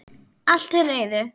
Allt til reiðu.